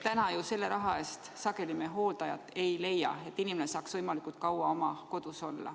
Täna ju selle raha eest sageli hooldajat ei leia, et inimene saaks võimalikult kaua oma kodus olla.